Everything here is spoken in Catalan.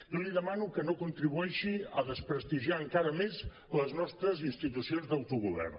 jo li demano que no contribueixi a desprestigiar encara més les nostres institucions d’autogovern